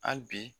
Hali bi